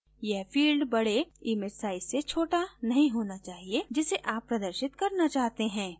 यह field बडे image size से छोटा नहीं होना चाहिए जिसे आप प्रदर्शित करना चाहते हैं